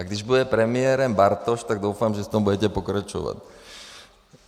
A když bude premiérem Bartoš, tak doufám, že v tom budete pokračovat.